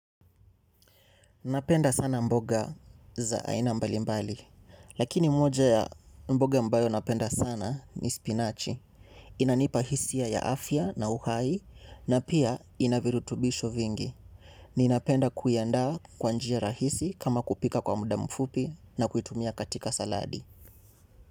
Napenda sana mboga za aina mbali mbali, lakini moja ya mboga ambayo napenda sana ni spinachi. Inanipa hisia ya afya na uhai na pia ina virutubisho vingi. Ninapenda kuiandaa kwa njia rahisi kama kupika kwa muda mfupi na kuitumia katika saladi.